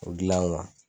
O gilan